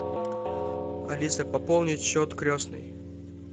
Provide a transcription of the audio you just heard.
алиса пополнить счет крестной